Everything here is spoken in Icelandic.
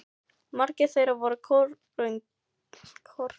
Margir þeirra voru kornungir strákar, litlu eldri en ég sjálfur.